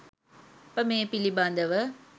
අප මේ පිළිබඳව